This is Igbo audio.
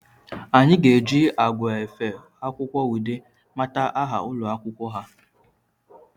Anyị ga eji agwa efe akwụkwọ Ude mata aha ụlọ akwụkwọ ha